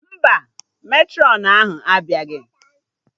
Mba, Matrọn ahụ abịaghị